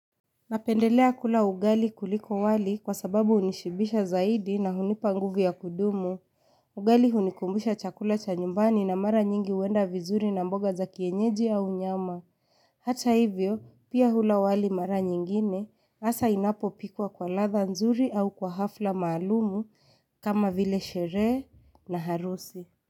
Napendelea kula ugali kuliko wali kwa sababu hunishibisha zaidi na hunipa nguvu ya kudumu, ugali hunikumbusha chakula cha nyumbani na mara nyingi huenda vizuri na mboga za kienyeji au nyama. Hata hivyo, pia hula wali mara nyingine, hasa inapopikwa kwa ladha nzuri au kwa hafla maalumu kama vile sherehe na harusi.